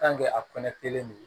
a kɔnɔ kelen don